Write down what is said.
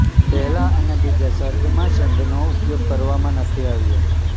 પહેલા અને બીજા સર્ગમાં છંદનો ઉપયોગ કરવામાં નથી આવ્યો